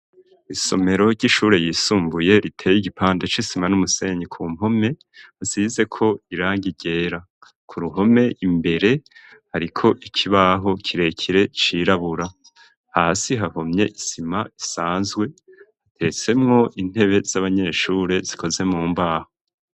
Isomero ry'ishure ryisumbuye riteye igipande c'isima n'umusenyi ku mpome asize ko irangi ryera ku ruhome imbere ariko ikibaho kirekire cirabura hasi hahomye isima isanzwe hatetsemwo intebe z'abanyeshure zikoze mu mbaho.